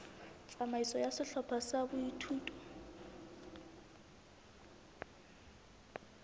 tsamaiso ya sehlopha sa boithuto